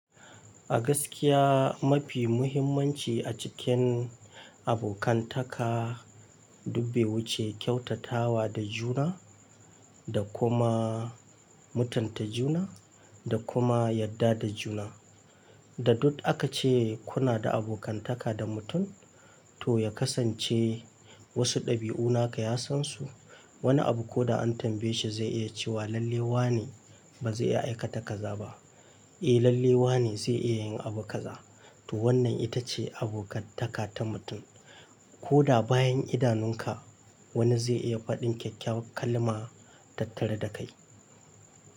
A gaskiya mafi muhimmanci a cikin abokantaka dubbe wuce kyautatawa da juna da kuma mutunta juna da kuma yarda da juna. Da dut aka ce kuna da abokantaka da mutum to ya kasance wasu dabi'unaka ya san su. Wani abu ko da an tambaye shi zai iya cewa lalle wa ne ba zai iya aikata kaza ba. Eh lalle wa ne zai iya yin abu kaza. To wannan ita ce abokantaka ta mutum. Ko da bayan idanunka wani zai iya faɗin kyakkyawar kalma tattare da kai.